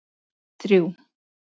þrjú